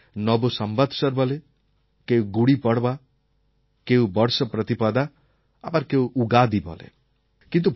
কেউ এটাকে নব সম্বৎসর বলে কেউ গুড়িপর্বা কেউ বর্ষ প্রতিপদা আবার কেউ উগাদী বলে